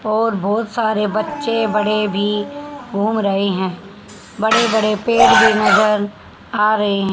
और बहुत सारे बच्चे बड़े भी घूम रहे हैं बड़े बड़े पेड़ भी नजर आ रहे हैं।